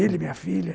Ele e minha filha.